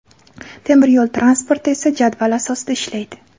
Temir yo‘l transporti esa jadval asosida ishlaydi.